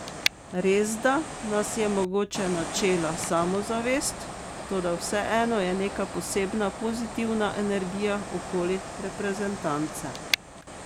Resda nas je mogoče načela samozavest, toda vseeno je neka posebna pozitivna energija okoli reprezentance.